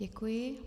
Děkuji.